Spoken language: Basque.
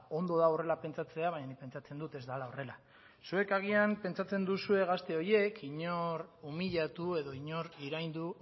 ondo da horrela pentsatzea baina pentsatzen dut ez dela horrela zuek agian pentsatzen duzue gazte horiek inor iraindu